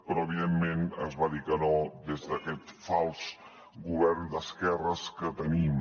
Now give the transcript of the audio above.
però evidentment es va dir que no des d’aquest fals govern d’esquerres que tenim